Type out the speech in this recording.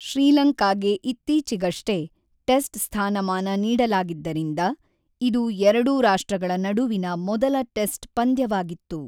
ಶ್ರೀಲಂಕಾಗೆ ಇತ್ತೀಚೆಗಷ್ಟೇ ಟೆಸ್ಟ್ ಸ್ಥಾನಮಾನ ನೀಡಲಾಗಿದ್ದರಿಂದ, ಇದು ಎರಡೂ ರಾಷ್ಟ್ರಗಳ ನಡುವಿನ ಮೊದಲ ಟೆಸ್ಟ್ ಪಂದ್ಯವಾಗಿತ್ತು.